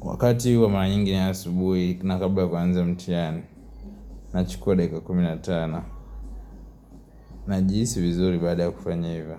Wakati huo mara mingi nayo asubuhi tena kabla ya kuanza mtihani nachukua dakika kumi na tano. Najihisi vizuri baada ya kufanya hivyo.